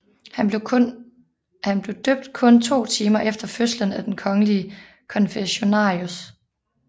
Han blev døbt kun to timer efter fødslen af den kongelige konfessionarius